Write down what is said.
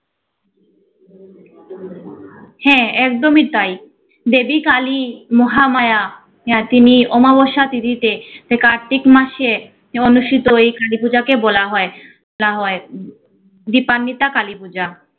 হ্যা, একদমই তাই। দেবী কালী, মহামায়া হ্যা তিনি অমাবস্যা তিথিতে যে কার্তিক মাসে অনুষ্ঠিত এই কার্তিক পূজাকে বলা হয় বলা হয় দীপান্বিতা কালী পূজা।